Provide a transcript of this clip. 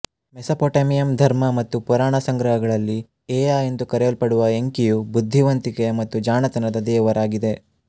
ಮೆಸಪೊಟೆಮಿಯಮ್ ಧರ್ಮ ಮತ್ತು ಪುರಾಣ ಸಂಗ್ರಹಗಳಲ್ಲಿ ಏಯಾ ಎಂದು ಕರೆಯಲ್ಪಡುವ ಎಂಕಿಯು ಬುದ್ಧಿವಂತಿಕೆಯ ಮತ್ತು ಜಾಣತನದ ದೇವರಾಗಿದೆ